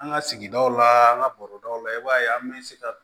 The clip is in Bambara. An ka sigidaw la an ka bɔrɔdaw la i b'a ye an bɛ se ka